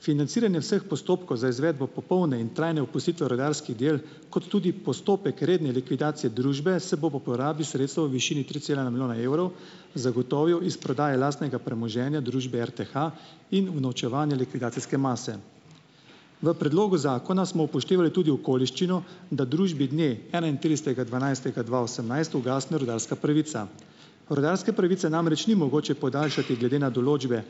Financiranje vseh postopkov za izvedbo popolne in trajne opustitve rudarskih del kot tudi postopek redne likvidacije družbe se bo po porabi sredstev v višini tri cela ena milijona evrov, zagotovil iz prodaje lastnega premoženja družbe RTH in unovčevanja likvidacijske mase. V predlogu zakona smo upoštevali tudi okoliščino, da družbi dne enaintridesetega dvanajstega dva osemnajst ugasne rudarska pravica. Rudarske pravice namreč ni mogoče podaljšati glede na določbe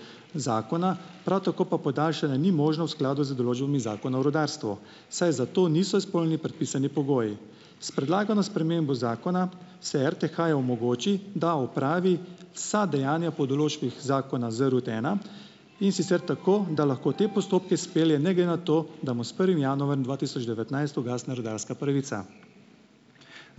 zakona, prav tako pa podaljšanje ni možno v skladu z določbami Zakona o rudarstvu, saj za to niso izpolnjeni predpisani pogoji. S predlagano spremembo zakona se RTH-ju omogoči, da opravi vsa dejanja po določbah zakona ZRUD ena, in sicer tako, da lahko te postopke spelje ne glede na to, da mu s prvim januarjem dva tisoč devetnajst ugasne rudarska pravica.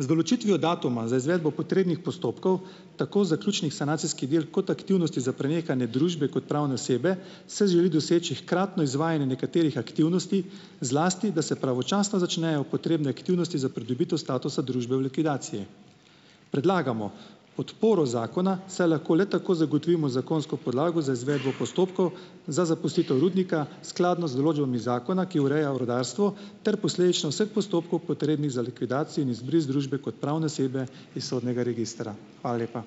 Z določitvijo datuma za izvedbo potrebnih postopkov, tako zaključnih sanacijski del kot aktivnosti za prenehanje družbe kot pravne osebe, se želi doseči hkratno izvajanje nekaterih aktivnosti, zlasti da se pravočasno začnejo potrebne aktivnosti za pridobitev statusa družbe v likvidacije. Predlagamo podporo zakona, saj lahko le tako zagotovimo zakonsko podlago za izvedbo postopkov za zapustitev rudnika, skladno z določbami zakona, ki ureja v rudarstvu ter posledično vseh postopkov, potrebnih za likvidacijo in izbris družbe kot pravne osebe iz sodnega registra. Hvala lepa.